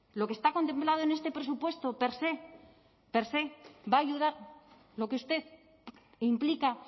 lo que está contemplado en este presupuesto per se per se va a ayudar lo que usted implica